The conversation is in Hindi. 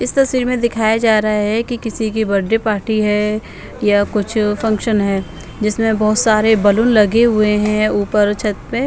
इस तस्वीर में दिखाया जा रहा है कि किसी की बर्थडे पार्टी है या कुछ फंक्शन है जिसमें बहुत सारे बलून लगे हुए हैं ऊपर छत पे।